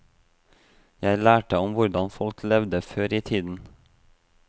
Jeg lærte om hvordan folk levde før i tiden.